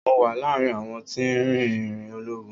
Mo wà láàárín àwọn tí ń rìn ìrìn ológun.